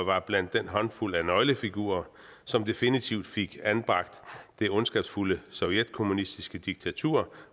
var blandt den håndfuld af nøglefigurer som definitivt fik anbragt det ondskabsfulde sovjetkommunistiske diktatur